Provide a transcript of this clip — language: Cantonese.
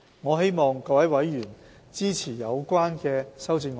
我希望各位委員支持有關修正案。